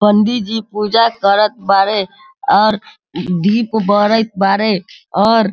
पंडित जी पूजा करत बाड़े और दीप बरइत बाड़े और --